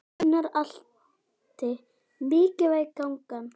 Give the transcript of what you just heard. Gunnar Atli: Mikilvæg gangan?